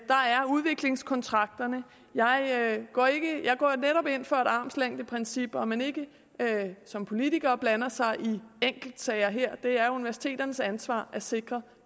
udviklingskontrakterne jeg går netop ind for et armslængdeprincip om at man ikke som politiker blander sig i enkeltsager her det er universiteternes ansvar at sikre